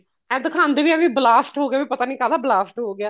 ਇਹ ਦਿਖਾਂਦੇ ਵੀ ਏ ਵੀ blast ਹੋ ਗਏ ਪਤਾ ਨੀ ਕਾਦਾ blast ਹੋ ਗਿਆ